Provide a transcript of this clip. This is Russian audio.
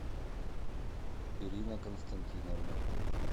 ирина константиновна